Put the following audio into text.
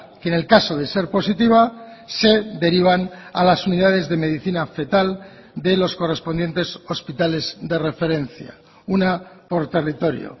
que en el caso de ser positiva se derivan a las unidades de medicina fetal de los correspondientes hospitales de referencia una por territorio